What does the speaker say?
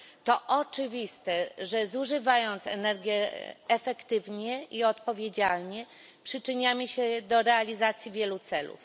To oczywiste, że zużywając energię efektywnie i odpowiedzialnie, przyczyniamy się do realizacji wielu celów.